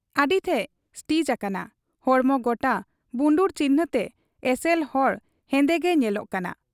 ᱟᱹᱰᱤ ᱴᱷᱮᱫ ᱥᱴᱤᱪ ᱟᱠᱟᱱᱟ ᱾ ᱦᱚᱲᱢᱚ ᱜᱚᱴᱟ ᱵᱩᱱᱰᱩᱨ ᱪᱤᱠᱷᱱᱟᱹ ᱛᱮ ᱮᱥᱮᱞ ᱦᱚᱲ ᱦᱮᱸᱫᱮ ᱜᱮᱭ ᱧᱮᱞᱚᱜ ᱠᱟᱱᱟ ᱾